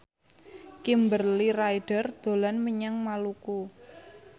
Kimberly Ryder dolan menyang Maluku